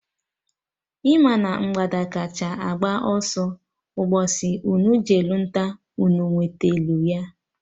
Ị ma na mgbada kacha agba ọsọ Mgbosi unu jelụ nta, unu enwetelụ ya?